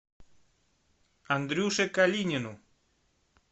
андрюше калинину